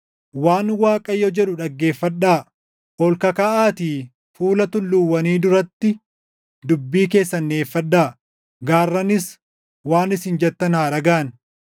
Waan Waaqayyo jedhu dhaggeeffadhaa: “Ol kakkaʼaatii fuula tulluuwwanii duratti dubbii keessan dhiʼeeffadhaa; gaarranis waan isin jettan haa dhagaʼan.